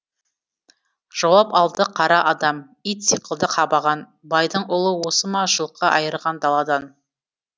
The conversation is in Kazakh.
жауап алды қара адам ит сықылды қабаған байдың ұлы осы ма жылқы айырған даладан